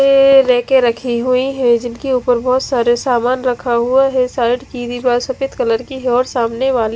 ये रैके रखी हुई है जिनके उपर बहोत सारे सामान रखा हुआ है साइड की दीवार सफेद कलर की है और सामने वाले--